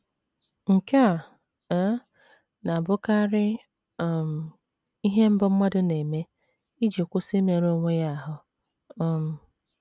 Nke a um na - abụkarị um ihe mbụ mmadụ na - eme iji kwụsị imerụ onwe ya ahụ́. um